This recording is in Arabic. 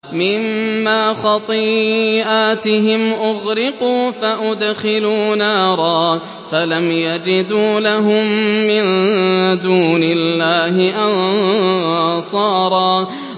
مِّمَّا خَطِيئَاتِهِمْ أُغْرِقُوا فَأُدْخِلُوا نَارًا فَلَمْ يَجِدُوا لَهُم مِّن دُونِ اللَّهِ أَنصَارًا